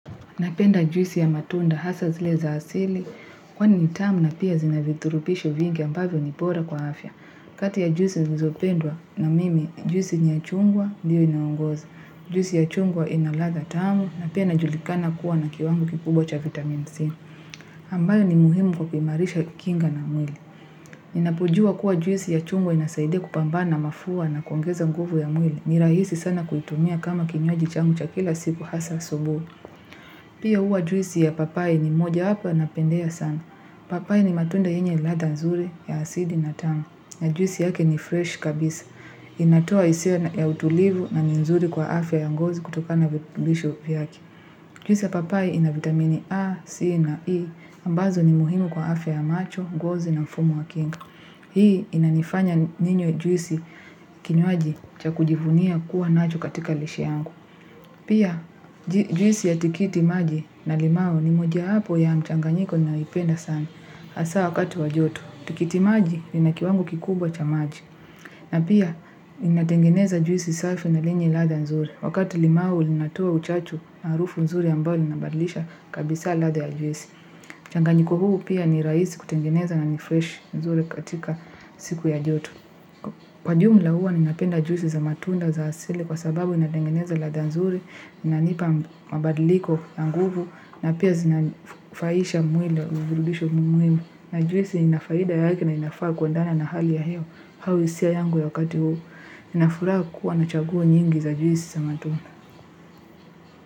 Napenda juisi ya matunda hasa zile za asili kwani ni tamu na pia zinavithurupishi vingi ambavyo ni bora kwa afya. Kati ya juisi nizopenda na mimi juisi ni ya chungwa diyo inaongoza. Juisi ya chungwa ina latha tamu na pia inajulikana kuwa na kiwango kikubwa cha vitamin C. Ambayo ni muhimu kwa kuimarisha kinga na mwili. Inapojua kuwa juisi ya chungwa inasaide kupambana mafua na koungeza nguvu ya mwili. Nirahisi sana kuitumia kama kinywaji changu cha kila siku hasa asubui. Pia uwa juisi ya papai ni moja hapa na pendeza sana. Papai ni matunda yenye latha nzuri ya asili na tanga. Na juisi yake ni fresh kabisa. Inatoa isia ya utulivu na nzuri kwa afya ya ngozi kutoka na virutbisho viyaki. Juisi ya papai ina vitamini A, C na E, ambazo ni muhimu kwa afya ya macho, ngozi na mfumo wa kinga. Hii inanifanya ninywe juisi kinywaji cha kujivunia kuwa nacho katika lishe yangu. Pia juisi ya tikiti maji na limao ni mojawapo ya mchanganyiko naipenda sana. Asa wakati wa joto, tikiti maji ina kiwango kikubwa cha maji. Na pia inatengeneza juisi safi na lenye latha nzuri. Wakati limau linatoa uchachu na harufu nzuri ambayo inabadlisha kabisa latha ya juisi. Changanyiko huu pia ni raisi kutengeneza na nifresh nzuri katika siku ya joto. Kwa jumla huwa ninapenda juisi za matunda za asili kwa sababu inatengeneza latha nzuri, inanipa mabadliko na nguvu na pia zinafahisha mwili uvirutubisho muimu. Na juisi inafahida yake na inafaa kuandena na hali ya hewa hau hisia yangu ya wakati huu inafuraha kuwa nachaguo nyingi za juisi za matunda.